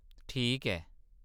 ठीक ऐ।